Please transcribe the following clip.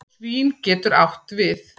Svín getur átt við